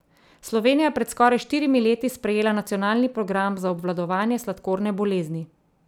Slovenija je pred skoraj štirimi leti sprejela nacionalni program za obvladovanje sladkorne bolezni.